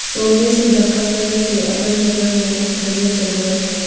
सोने से धक्का घर के अगल बगल में घने जंगल है।